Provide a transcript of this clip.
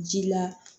Ji la